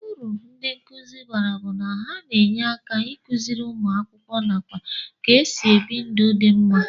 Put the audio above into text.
Uru ndi nkuzi bara bu na ha na enye aka ikụziri ụmụaka akwụkwọ nakwa ka esi ebi ndụ di mma.